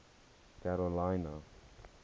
karolina